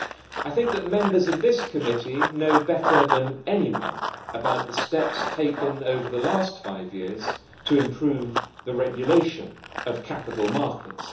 I think that Members of this committee know better than anyone about the steps taken over the last five years to improve the regulation of capital markets.